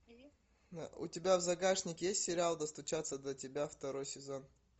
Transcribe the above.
у тебя в загашнике есть сериал достучаться до тебя второй сезон